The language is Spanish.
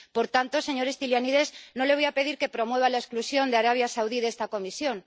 Por tanto, señor Stylianides, no le voy a pedir que promueva la exclusión de Arabia Saudí de esta Comisión.